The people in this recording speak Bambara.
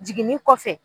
Jiginni kɔfɛ